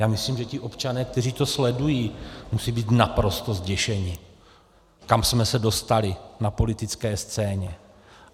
Já myslím, že ti občané, kteří to sledují, musí být naprosto zděšeni, kam jsme se dostali na politické scéně.